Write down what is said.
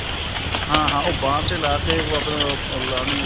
ਹਾਂ ਹਾਂ ਉਹ ਬਾਂਹ ਤੇ ਲਾਕੇ ਆਪਣਾ ਉਹ